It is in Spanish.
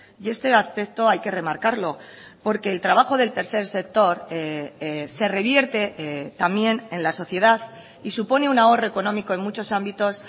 y este aspecto hay que remarcarlo porque el trabajo del tercer sector se revierte también en la sociedad y supone un ahorro económico en muchos ámbitos